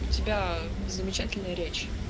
у тебя замечательная речь